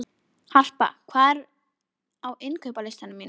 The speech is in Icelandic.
Harpa, hvað er á innkaupalistanum mínum?